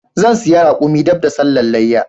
Zan siya raƙumin dab da sallan leyya